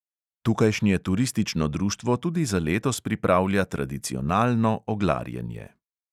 Tukajšnje turistično društvo tudi za letos pripravlja tradicionalno oglarjenje.